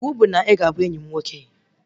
Iwu bụ na ị ga-abụ enyi m nwoke!